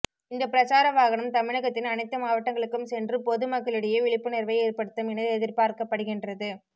இந்தப் பிரசார வாகனம் தமிழகத்தின் அனைத்து மாவட்டங்களுக்கும் சென்று பொது மக்களிடையே விழிப்புணர்வை ஏற்படுத்தும் என எதிர்பார்க்கப்படுகின்றது